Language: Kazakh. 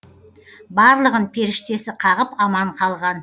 барлығын періштесі қағып аман қалған